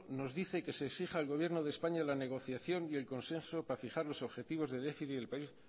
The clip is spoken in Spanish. nos dice que se exija al gobierno de españa la negociación y el consenso para fijar los objetivos de déficit del país